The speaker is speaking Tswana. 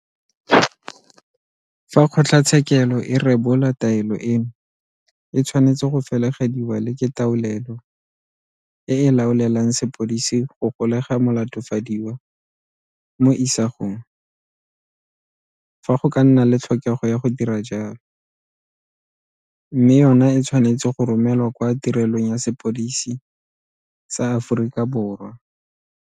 Fa kgotlatshekelo e rebola taelo eno e tshwanetse go felegediwa le ke taolelo e e laoelang sepodisi go golega molatofadiwa mo isagong fa go ka nna le tlhokego ya go dira jalo mme yona e tshwa netse go romelwa kwa Tirelong ya Sepodisi sa Aforika Borwa.